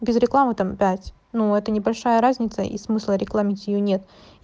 без рекламы там пять ну это небольшая разница и смысла рекламировать её нет